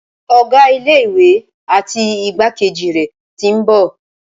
Ọ̀gá ilé ìwé àti igbákejì rẹ̀ tí ń bọ̀.